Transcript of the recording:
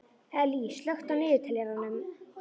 Ellý, slökktu á niðurteljaranum.